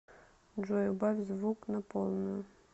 джой убавь звук на полную